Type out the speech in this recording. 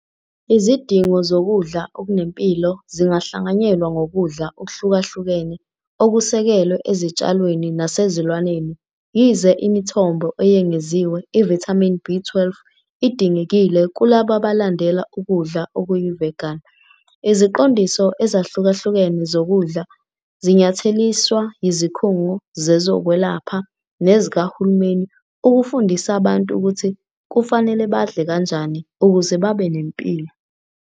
Izidingo zokudla okunempilo zingahlanganyelwa ngokudla okuhlukahlukene okusekelwe ezitshalweni nasezilwaneni, yize imithombo eyengeziwe ivithamini B12 idingekile kulabo abalandela ukudla okuyi-vegan. Iziqondiso ezahlukahlukene zokudla zinyatheliswa yizikhungo zezokwelapha nezikahulumeni ukufundisa abantu ukuthi kufanele badle kanjani ukuze babe nemphilo.